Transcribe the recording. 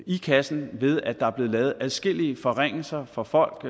i kassen ved at der er blevet lavet adskillige forringelser for folk